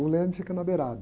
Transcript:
O leme fica na beirada.